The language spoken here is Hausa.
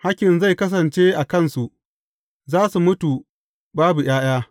Hakkin zai kasance a kansu, za su mutu babu ’ya’ya.